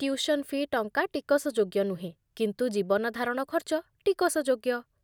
Tuition fee' ଟଙ୍କା ଟିକସଯୋଗ୍ୟ ନୁହେଁ, କିନ୍ତୁ ଜୀବନଧାରଣ ଖର୍ଚ୍ଚ ଟିକସଯୋଗ୍ୟ।